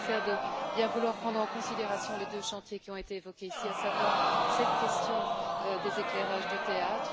le Commissaire de bien vouloir prendre en considération les deux chantiers qui ont été évoqués ici, à savoir la question des éclairages de théâtre.